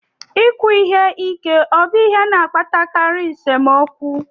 Ikwu ihe ike obụ ihe na-akpatakarị nsemokwu?